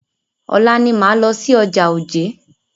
Ọ̀la ni máa lọ sí ọjà Ojé.